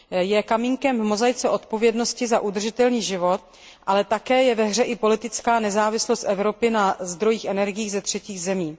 Je kamínkem v mozaice odpovědnosti za udržitelný život, ale také je ve hře i politická nezávislost Evropy na zdrojích energií ze třetích zemí.